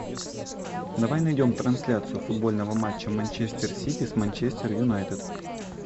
давай найдем трансляцию футбольного матча манчестер сити с манчестер юнайтед